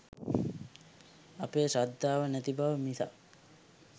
අපේ ශ්‍රද්ධාව නැති බව මිසක්